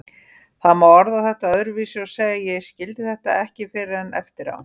Það má orða þetta öðruvísi og segja: Ég skildi þetta ekki fyrr en eftir á.